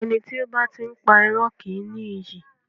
Ẹni tí ó bá ti ń pá irọ́ kì í ní iyì.